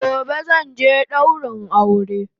Gobe zanje daurin aure